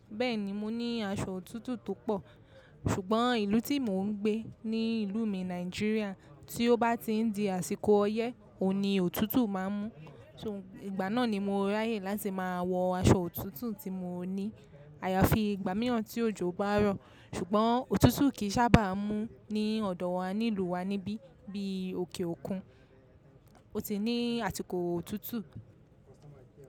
Bẹ́ẹ̀ni mo ní aṣọ òtútù tó pọ̀, ṣùgbọ́n ìlú tí mò ń gbé ni ìlú mi Nàìjíríà tí ó bá ti ń di àsìkò ọyẹ́, òní òtútù má n mú. Ṣó ìgbà náà ni mo ráyè láti máa wọ aṣọ òtútù tí mo ní. Àyàfi ìgbà mìíràn tí òjò bá rọ̀, ṣùgbọ́n òtútù kì í sábà mú ní ọ̀dọ̀ wa nílùú wa níbí bí i òkè òkun. Ó ti ní àsìkò òtútù.